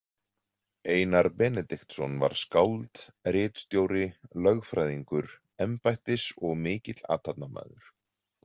Einar Benediktsson var skáld, ritstjóri, lögfræðingur, embættis- og mikill athafnamaður.